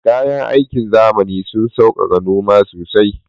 Kayan aikin zamani sun sauƙaƙa noma sosai